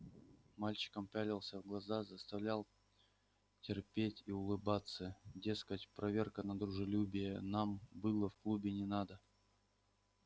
мальчикам пялился в глаза заставлял терпеть и улыбаться дескать проверка на дружелюбие нам было в клубе не надо